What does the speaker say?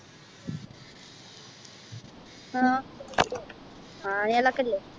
ആ ആനകളൊക്കെ ഇല്ലെ